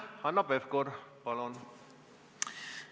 Hanno Pevkur, palun!